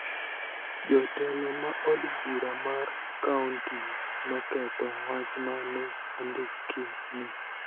Jo telo ma od bura mar kaonti noketho wach ma ne ondiki ni